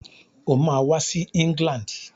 Ó máa wá sí England.